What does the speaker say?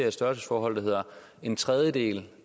et størrelsesforhold hvor en tredjedel